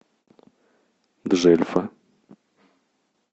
джельфа